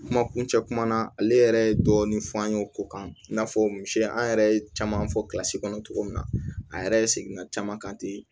Kuma kuncɛ kuma na ale yɛrɛ ye dɔɔnin fɔ an ye o ko kan i n'a fɔ misi an yɛrɛ ye caman fɔ kɔnɔ cogo min na a yɛrɛ ye segin ka caman kan ten